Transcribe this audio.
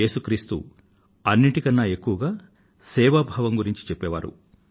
ఏసు క్రీస్తు అన్నింటి కన్నా ఎక్కువగా సేవాభావాన్ని గురించి చెప్పే వారు